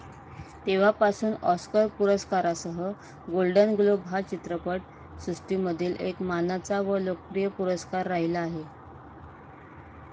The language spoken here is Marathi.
तेव्हापासून ऑस्कर पुरस्कारासह गोल्डन ग्लोब हा चित्रपट सृष्टीमधील एक मानाचा व लोकप्रिय पुरस्कार राहिला आहे.